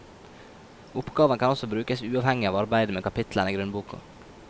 Oppgavene kan også brukes uavhengig av arbeidet med kapitlene i grunnboka.